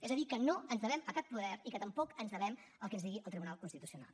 és a dir que no ens devem a cap poder i que tampoc ens devem al que ens digui el tribunal constitucional